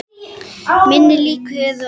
Minni líkur eru á